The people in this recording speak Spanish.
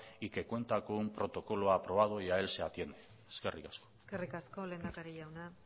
y que cuenta con un protocolo aprobado y a él se atiene eskerrik asko eskerrik asko lehendakari jauna